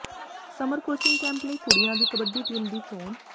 summer coaching camp ਲਈ ਕੁੜੀਆਂ ਦੀ ਕਬੱਡੀ ਟੀਮ ਦੀ ਚੋਣ